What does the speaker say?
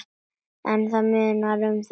En það munar um þetta.